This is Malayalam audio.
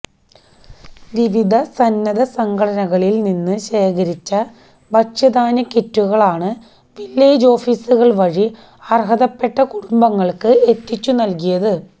വിവിധ സന്നദ്ധസംഘടനകളില് നിന്ന് ശേഖരിച്ച ഭക്ഷ്യധാന്യ കിറ്റുകളാണ് വില്ലേജ് ഓഫിസുകള് വഴി അര്ഹതപ്പെട്ട കുടുംബങ്ങള്ക്ക് എത്തിച്ചു നല്കിയത്